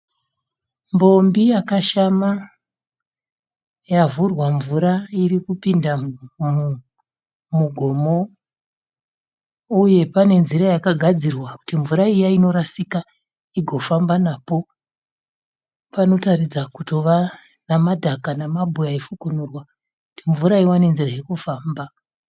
Mbombi yakashama, yavhurwa mvura irikupinda mumugomo, uye pane nzira yakagadzirwa kuti mvura iya inorasika igofamba napo. Panotaridza kutova namadhaga namabwe ayifukunurwa kuti mvura iwane nzira yekufamba.